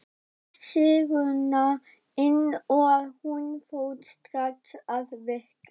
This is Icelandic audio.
Ég tók sýruna inn og hún fór strax að virka.